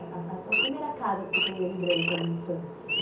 A, a sua primeira casa que você tem lembrança de infância?